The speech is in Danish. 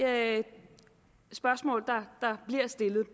spørgsmål der bliver stillet